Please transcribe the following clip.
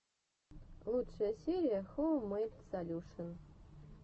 лучшая серия хоум мэйд солюшен